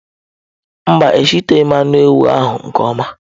Mba, a eshiteghi anụ ewu ahụ nke ọma.